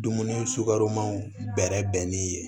Dumuni sugaromanw bɛrɛ bɛnni ye